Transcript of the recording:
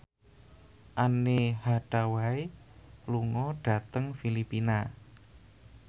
Anne Hathaway lunga dhateng Filipina